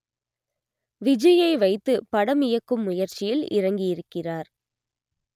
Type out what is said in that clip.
விஜய்யை வைத்து படம் இயக்கும் முயற்சியில் இறங்கியிருக்கிறார்